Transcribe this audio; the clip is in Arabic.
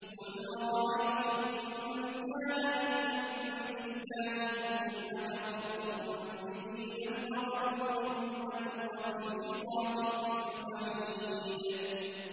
قُلْ أَرَأَيْتُمْ إِن كَانَ مِنْ عِندِ اللَّهِ ثُمَّ كَفَرْتُم بِهِ مَنْ أَضَلُّ مِمَّنْ هُوَ فِي شِقَاقٍ بَعِيدٍ